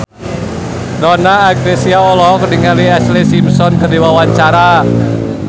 Donna Agnesia olohok ningali Ashlee Simpson keur diwawancara